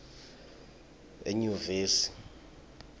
enyuvesi